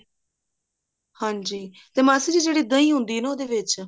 ਹਾਂਜੀ ਤੇ ਮਾਸੀ ਜੀ ਜਿਹੜੀ ਦਹੀਂ ਹੁੰਦੀ ਆ ਨਾ ਉਹਦੇ ਵਿੱਚ